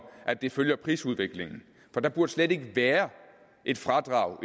at det følger prisudviklingen for der burde slet ikke være et fradrag